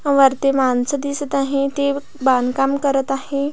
वरती माणसे दिसत आहेत ते बांधकाम करत आहे.